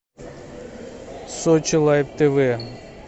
сочи лайф тв